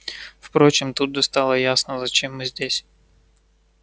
впрочем тут же стало ясно зачем мы здесь